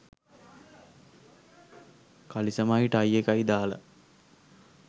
කලිසමයි tie එකයි දාලා